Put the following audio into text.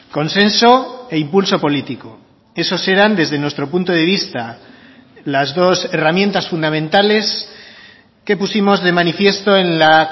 consenso e impulso político esos eran desde nuestro punto de vista las dos herramientas fundamentales que pusimos de manifiesto en la